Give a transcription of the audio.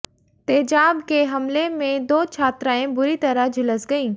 तेजाब के हमले में दो छात्राएं बुरी तरह झुलस गयीं